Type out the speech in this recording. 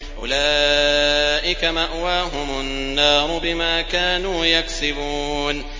أُولَٰئِكَ مَأْوَاهُمُ النَّارُ بِمَا كَانُوا يَكْسِبُونَ